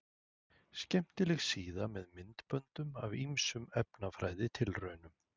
Skemmtileg síða með myndböndum af ýmsum efnafræðitilraunum.